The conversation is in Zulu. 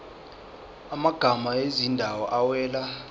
amagama ezindawo awela